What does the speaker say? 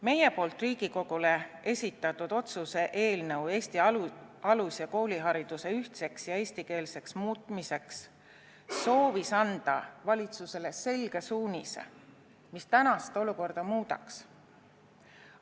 Meie poolt Riigikogule esitatud otsuse "Ettepanek Vabariigi Valitsusele Eesti alus- ja koolihariduse ühtseks ja eestikeelseks muutmiseks" eelnõu soovis anda valitsusele selge suunise, mis tänast olukorda muudaks.